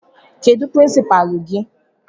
Kedụ pirinsipaalu gị?